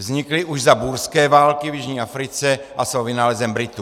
Vznikly už za búrské války v jižní Africe a jsou vynálezem Britů.